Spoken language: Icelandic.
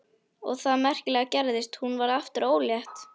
Og það merkilega gerðist: Hún varð aftur ólétt.